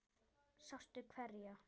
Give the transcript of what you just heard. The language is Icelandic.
Sástu hverja?